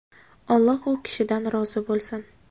Alloh u kishidan rozi bo‘lsin!”.